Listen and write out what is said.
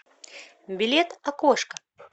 билет окошко